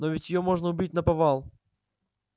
но ведь её можно убить наповал